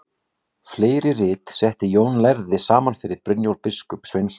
Fleiri rit setti Jón lærði saman fyrir Brynjólf biskup Sveinsson.